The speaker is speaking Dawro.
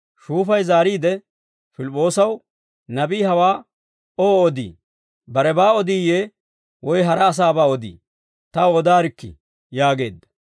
Shuufay zaariide Pilip'p'oosaw, «Nabii hawaa oowaa odii? Barebaa odiyee woy hara asaabaa odii? Taw odaarikkii» yaageedda.